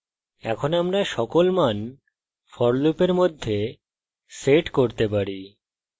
in আমরা সকল মান for লুপের মধ্যে set করতে পারি